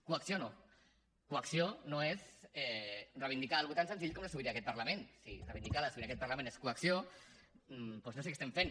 coacció no coacció no és reivindicar una cosa tan senzilla com la sobirania d’aquest parlament si reivindicar la sobirania d’aquest parlament és coacció doncs no sé què estem fent